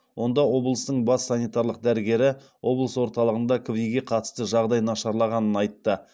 онда облыстың бас санитарлық дәрігері облыс орталығында кви ге қатысты жағдай нашарлағанын айтты